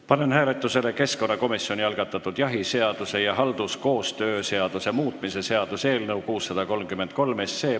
Panen hääletusele keskkonnakomisjoni algatatud jahiseaduse ja halduskoostöö seaduse muutmise seaduse eelnõu 633.